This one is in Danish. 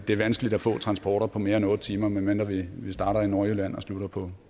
det vanskeligt at få transporter på mere end otte timer medmindre vi starter i nordjylland og slutter på